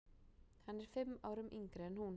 Hann er fimm árum yngri en hún.